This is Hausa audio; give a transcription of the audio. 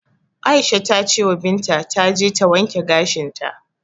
Aisha ta cewa Binta taje ta wanke gashinta.